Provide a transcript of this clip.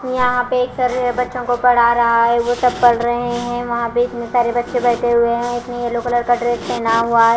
यहां पे एक सर है बच्चों को पढ़ा रहा है वो सब पढ़ रहे हैं वहां पे इतने सारे बच्चे बैठे हुए हैं इसमें येलो कलर का ड्रेस पहना हुआ--